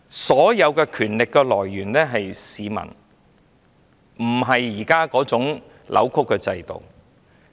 所有權力的來源是市民，不是現時扭曲的制度。